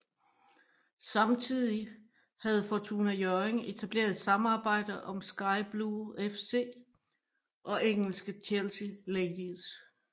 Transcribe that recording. Samtidig havde Fortuna Hjørring etableret et samarbejde om Sky Blue FC og engelske Chelsea Ladies